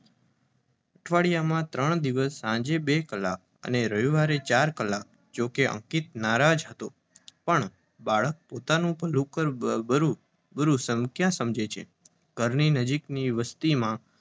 અઠવાડિયામાં ત્રણ દિવસ સાંજે બે કલાક અને રવિવારે ચાર કલાક. જોકે અંકિત નારાજ હતો પણ બાળક પોતાનું ભલુંબૂરું ક્યાંથી સમજી શકે? ઘરથી નજીકની વસ્તીમાં